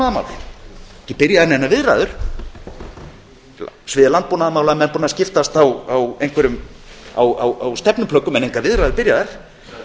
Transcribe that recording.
eru ekki byrjaðar neinar viðræður á sviði landbúnaðarmála eru menn búnir að skiptast á einhverjum stefnuplöggum en það eru engar viðræður byrjaðar